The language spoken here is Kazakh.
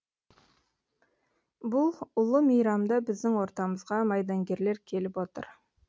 бұл ұлы мейрамда біздің ортамызға майдангерлер келіп отыр